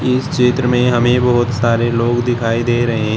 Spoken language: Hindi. इस चित्र में हमें बहुत सारे लोग दिखाई दे रहे--